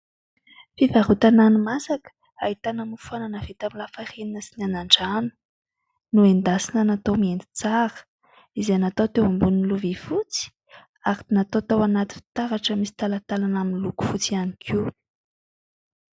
Fivarotana hani-masaka ahitana mofo anana vita tamin'ny lafarinina sy ny anan-drano no endasina natao mienditsara izay natao teo ambonin'ny lovy fotsy , ary natao tao anaty fitaratra misy talatalana amin'ny loko fotsy ihany koa.